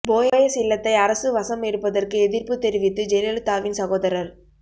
போயஸ் இல்லத்தை அரசு வசம் எடுப்பதற்கு எதிர்ப்பு தெரிவித்து ஜெயலலிதாவின் சகோதரர்